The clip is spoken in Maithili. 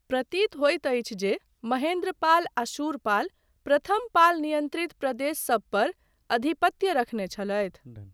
प्रतीत होयत अछि जे महेन्द्रपाल आ शूरपाल प्रथम पाल नियन्त्रित प्रदेशसब पर अधिपत्य रखने छलथि।